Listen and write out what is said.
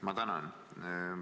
Ma tänan!